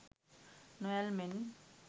නොඇල්මෙන්